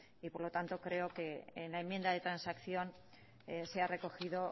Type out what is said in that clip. y por lo tanto creo que en la enmienda de transacción se ha recogido